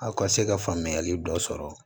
Aw ka se ka faamuyali dɔ sɔrɔ